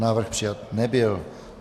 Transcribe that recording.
Návrh přijat nebyl.